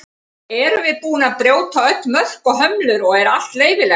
erum við búin að brjóta öll mörk og hömlur og er allt leyfilegt